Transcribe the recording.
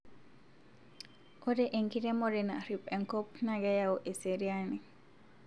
ore enkiremore narip enkop ma keyau eseriani